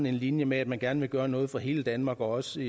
en linje med at man gerne vil gøre noget for hele danmark også